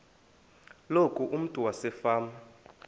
loku umntu wasefama